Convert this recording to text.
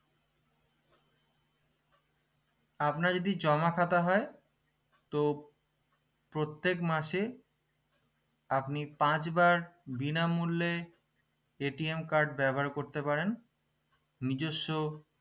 আপনার যদি জমা খাতা হয় তো প্রত্যেক মাসে আপনি পাঁচবার বিনামূল্যে card ব্যবহার করতে পারেন নিজস্ব